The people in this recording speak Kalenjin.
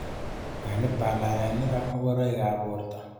Kwenik balalenikyik ak mokoroikab borto.